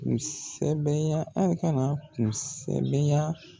Ko sɛbɛya , aw ka na ko sɛbɛya.